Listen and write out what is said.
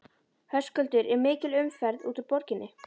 Höskuldur er mikil umferð út úr borginni?